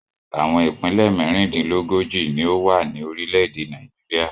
Àwọn ìpínlẹ̀ mẹ́rìndínlógójì ni ó wà ní orílẹ̀-èdè Nàìjíríà.